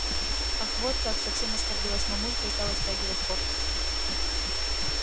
ах вот как совсем оскорбилась мамулька и стала стягивать кофточку